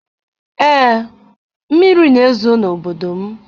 Ee, mmiri na-ezo n'obodo m.